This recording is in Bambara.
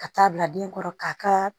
Ka taa bila den kɔrɔ k'a ka